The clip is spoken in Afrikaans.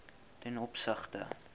ten opsigte